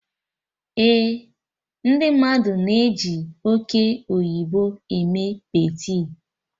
Eh, ndị mmadụ na-eji oke oyibo eme peetị